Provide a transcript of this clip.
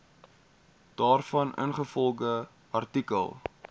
daarvan ingevolge artikel